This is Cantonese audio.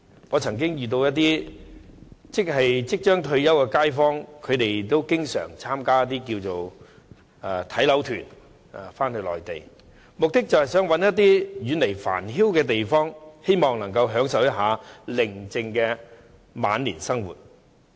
我曾經遇到一些即將退休的街坊，他們經常返回內地參加"睇樓團"，目的是希望尋找遠離繁囂的地方，享受寧靜的晚年生活。